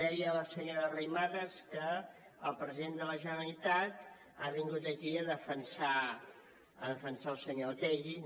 deia la senyora arrimadas que el president de la generalitat ha vingut aquí a defensar el senyor otegi